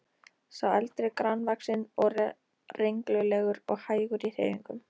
Sá eldri grannvaxinn og renglulegur og hægur í hreyfingum.